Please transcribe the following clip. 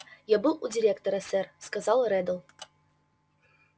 я был у директора сэр сказал реддл